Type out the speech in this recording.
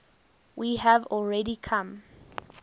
we have already come